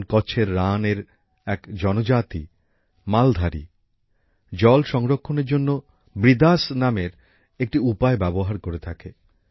যেমন কচ্ছের রান এর এক জনজাতি মালধারী জল সংরক্ষণের জন্য বৃদাস নামের একটি উপায় ব্যবহার করে থাকে